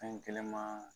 Fɛn kelen ma